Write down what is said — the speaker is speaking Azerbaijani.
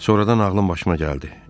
Sonradan ağlım başıma gəldi.